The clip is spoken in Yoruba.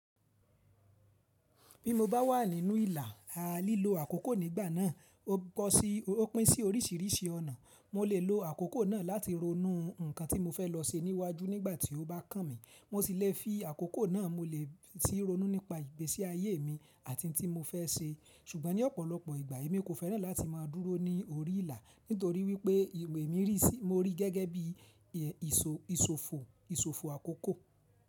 Bí mo bá wà nínú ìlà, a lílo àkókò nígbà náà, ó pín sí oríṣìíríṣìí ọ̀nà. Mo lè lo àkókò náà láti ronú nǹkan tí mo fẹ́ lọ ṣe níwájú nígbà tí ó bá kàn mí. Mo sì le fi àkókò náà, mo lè sì ronú nípa ìgbésí ayé mi àti ohun tí mo fẹ́ ṣe. Ṣùgbọ́n ní ọ̀pọ̀lọpọ̀ ìgbà, èmi kò fẹ́ràn láti máa dúró ní orí ìlà nítorí wípé ìwè mi rí, mo rí gẹ́gẹ́ bí ìsòfò àkókò.